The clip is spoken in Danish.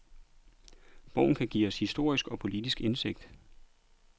Bogen kan give os historisk og politisk indsigt.